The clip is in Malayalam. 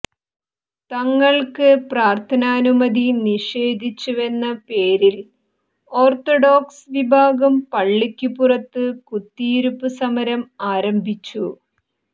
തങ്ങൾക്ക് പ്രാർഥനാനുമതി നിഷേധിച്ചുവെന്ന പേരിൽ ഓർത്തഡോക്സ് വിഭാഗം പളളിക്കു പുറത്ത് കുത്തിയിരിപ്പ് സമരം ആരംഭിച്ചു